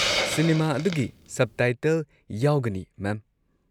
Cinema ꯑꯗꯨꯒꯤ subtitle ꯌꯥꯎꯒꯅꯤ, ꯃꯦꯝ꯫